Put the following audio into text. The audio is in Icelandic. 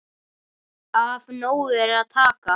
Af nógu er að taka.